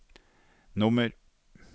nummer